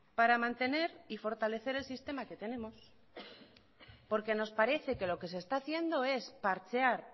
para mantener y fortalecer el sistema que tenemos porque nos parece que lo que se está haciendo es parchear